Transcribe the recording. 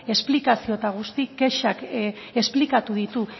esplikazio eta guztiz kexak esplikatu ditu